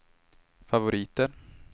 favoriter